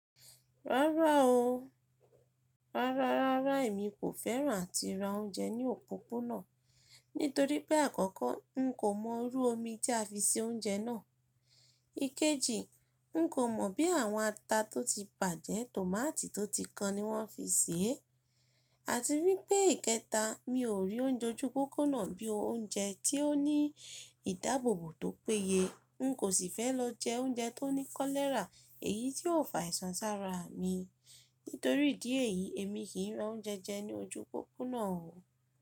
Rárá o. Rárá, rárá èmi kò fẹ́ràn à ti ra oúnjẹ ní òpópónà̀ nítorí pé àkọ́kọ́ n kò mọ̀rú omi tí a fi se oúnjẹ náà. Ikeji, n kò mọ̀ bí àwọn ata tó ti pàjẹ́, tòmátì tó ti kan ni wọ́n fi sè é. Àti wípé ìkẹta, mi ò rí oúnjẹ ojú pópónà bí i oúnjẹ tí ó ní ìdáàbòbò tó péye. N kò sì fẹ́ lọ jẹ oúnjẹ tó ní kólẹ́rà èyí tí yóò fà ìsan sára mi. Nítorí ìdí èyí, èmi kì í ra oúnjẹ jẹ ní ojú pópónà o.